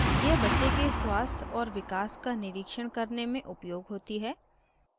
यह बच्चे के स्वास्थ और विकास का निरीक्षण करने में उपयोग होती है